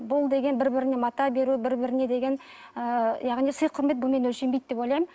бұл деген бір біріне мата беру бір біріне деген ы яғни сый құрмет бұнымен өлшенбейді деп ойлаймын